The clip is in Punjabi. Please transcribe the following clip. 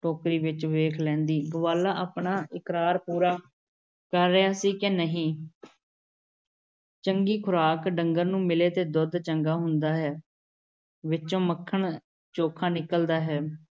ਟੋਕਰੀ ਵਿੱਚ ਵੇਖ ਲੈਂਦੀ, ਗਵਾਲਾ ਆਪਣਾ ਇਕਰਾਰ ਪੂਰਾ ਕਰ ਰਿਹਾ ਸੀ ਕਿ ਨਹੀਂ । ਚੰਗੀ ਖ਼ੁਰਾਕ ਡੰਗਰ ਨੂੰ ਮਿਲ਼ੇ ਤੇ ਦੁੱਧ ਚੰਗਾ ਹੁੰਦਾ ਹੈ, ਵਿੱਚੋਂ ਮੱਖਣ ਚੋਖਾ ਨਿਕਲ਼ਦਾ ਹੈ ।